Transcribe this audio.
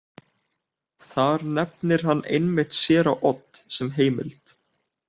Þar nefnir hann einmitt séra Odd sem heimild.